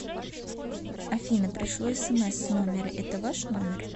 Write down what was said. афина пришло смс с номера это ваш номер